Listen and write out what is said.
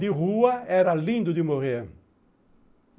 De rua era lindo de morrer.